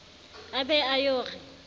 a be a yo re